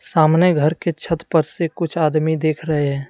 सामने घर के छत पर से कुछ आदमी देख रहे हैं।